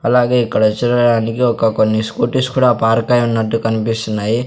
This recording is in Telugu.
అలాగే ఇక్కడ చూడడానికి ఒక కొన్ని స్కూటీస్ కూడా పార్క్ అయ్యున్నట్టు కన్పిస్తున్నాయి.